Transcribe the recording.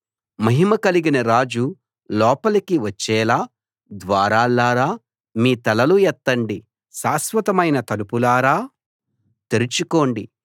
మహిమ కలిగిన రాజు లోపలి వచ్చేలా ద్వారాల్లారా మీ తలలు ఎత్తండి శాశ్వతమైన తలుపులారా తెరుచుకోండి